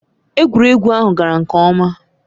Egwuregwu ahụ gara nke ọma.